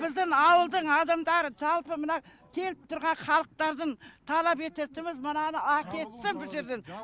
біздің біздің ауылдың адамдары жалпы мына келіп тұрған халықтардың талап ететініміз мынаны әкетсін бұ жерден